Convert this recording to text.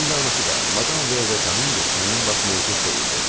Eynilə anası da madam Veye Kamenges həmin vaxt mövcud deyildi.